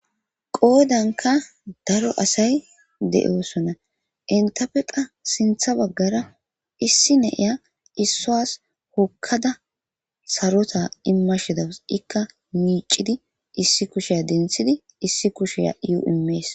qoodanka daro asay de7oosona entape qa sintha baggara issi ne'iya issuas hokkada sarota immashidaus ikka miicidi issi kusheya denthidi issi kusheya is imees